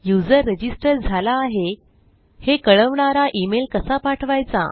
user register झाला आहे हे कळवणारा इमेल कसा पाठवायचा